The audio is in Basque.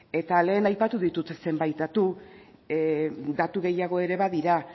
eta lehen aipatu ditut zenbait datu datu gehiago ere badira